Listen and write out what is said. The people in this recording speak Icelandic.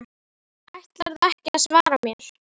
Ætlarðu ekki að svara mér?